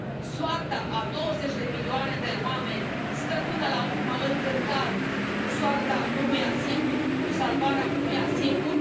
Soarta a 20 de milioane de oameni stă, până la urmă, în cântar cu soarta unuia singur, cu salvarea unuia singur?